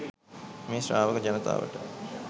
මේ ශ්‍රාවක ජනතාවට